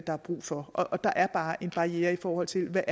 er brug for og der er bare en barriere i forhold til